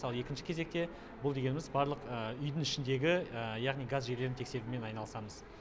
ал екінші кезекте бұл дегеніміз барлық үйдің ішіндегі яғни газ желілерін тексерумен айналысамыз